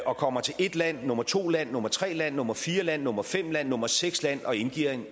og kommer til et land nummer to land nummer tre land nummer fire land nummer fem land nummer seks land og indgiver